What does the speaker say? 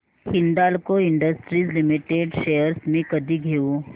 Hindalco industries limited shares मी कधी घेऊ